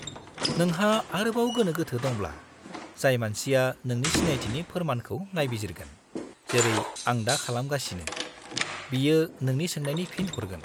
-नोंहा आरोबाव गोनो-गोथो दंब्ला, जाय मानसिया नोंनि सिनायथिनि फोरमानखौ नायबिजिरगोन, जेरै आं दा खालामगासिनो, बियो नोंनि सोंनायनि फिन हरगोन।